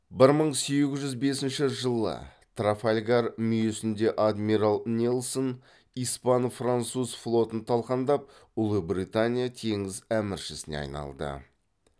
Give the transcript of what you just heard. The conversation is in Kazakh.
бір мың сегіз жүз бесінші жылы трафальгар мүйісінде адмирал нельсон испан француз флотын талқандап ұлыбритания теңіз әміршісіне айналды